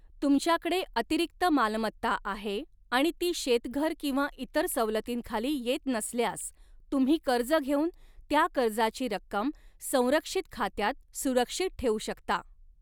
तुमच्याकडे अतिरिक्त मालमत्ता आहे आणि ती शेतघर किंवा इतर सवलतींखाली येत नसल्यास, तुम्ही कर्ज घेऊन त्या कर्जाची रक्कम संरक्षित खात्यात सुरक्षित ठेवू शकता.